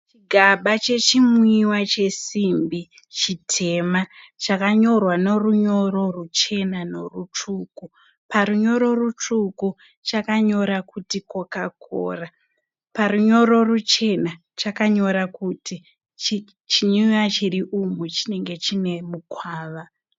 Chigaba chechimwiwa chesimbi chitema chakanyorwa nerunyoro ruchena nerutsvuku. Parunyoro rutsvuku chakanyora kuti coca cola parunyoro ruchena chakanyora kuti chinwiwa chiriumu chinenge chine mukwava.